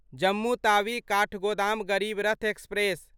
Jammu Tawi Kathgodam Garib Rath express